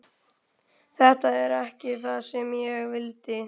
Þetta er ekki það sem ég vildi.